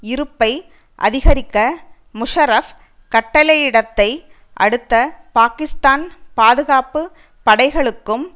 இருப்பை அதிகரிக்க முஷராப் கட்டளையிடத்தை அடுத்து பாகிஸ்தான் பாதுகாப்பு படைகளுக்கும்